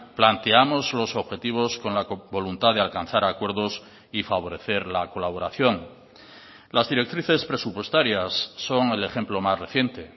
planteamos los objetivos con la voluntad de alcanzar acuerdos y favorecer la colaboración las directrices presupuestarias son el ejemplo más reciente